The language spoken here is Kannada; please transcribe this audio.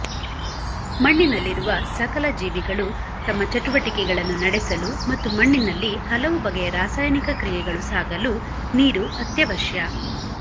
ಮಣ್ಣಿನಲ್ಲಿರುವ ಸಕಲ ಜೀವಿಗಳು ತಮ್ಮ ಚಟುವಟಿಕೆಗಳನ್ನು ನಡೆಸಲು ಮತ್ತು ಮಣ್ಣಿನಲ್ಲಿ ಹಲವು ಬಗೆಯ ರಾಸಾಯನಿಕ ಕ್ರಿಯೆಗಳು ಸಾಗಲು ನೀರು ಅತ್ಯವಶ್ಯ